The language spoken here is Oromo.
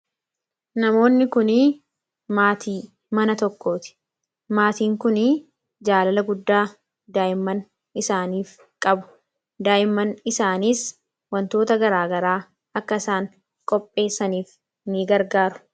Namoonni kuni maatii mana tokkooti maatiin kunii jaalala guddaa daa'imman isaaniif qabu. Daa'imman isaaniis wantoota garaagaraa akka isaan qopheessaniif ni gargaaru.